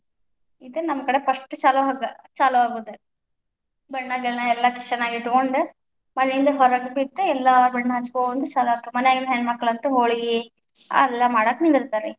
ಇದು ನಮ್ ಕಡೆ first ಚಾಲು ಆಗು~ ಆಗುದ್, ಬಣ್ಣ ಗಿಣ್ಣ ಎಲ್ಲಾ ಕಿಸೆನಾಗ ಇಟ್ಕೊಂಡ್ ಮನೆಯಿಂದ ಹೊರಗ್ ಬಿದ್, ಎಲ್ಲಾ ಬಣ್ಣ ಹಚ್ಚಿಕೊಂತ ಚಾಲು ಆತ್ ಮನ್ಯಾಗಿನ ಹೆಣ್ಮಕ್ಳ ಅಂತೂ ಹೋಳಗಿ ಅವೆಲ್ಲಾ ಮಾಡಾಕ ನಿಂದರ್ತ್ತಾರಿ.